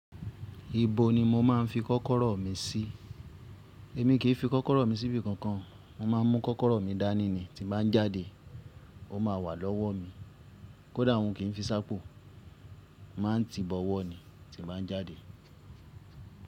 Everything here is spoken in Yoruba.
Ibo ni mo máa ń fi kọ́kọ́rọ́ mi sí? Èmi kì fi kọ́kọ́rọ́ mi síbi kankan. Mo máa ń mú kọ́kọ́rọ́ mi dání ni, tí n ba n jáde, ó má wà lọ́wọ́ mi. Kódà un kìn fi s'ápo, maá ń ti bọ̀wọ̀ ni tí n bá ń jáde.